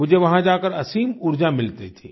मुझे वहाँ जाकर असीम ऊर्जा मिलती थी